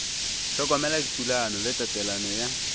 hlokomela dithulano le tatelelo ya